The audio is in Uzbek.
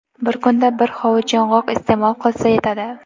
Bir kunda bir hovuch yong‘oq iste’mol qilsa yetadi.